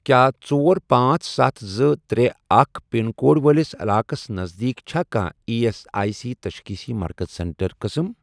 کیٛاہ ژۄر، پانژھ، ستھَ، زٕ، ترے، اکھ، پِن کوڈ وٲلِس علاقس نزدیٖک چھا کانٛہہ ایی ایس آٮٔۍ سی تشخیٖصی مرکز سینٹر قٕسم؟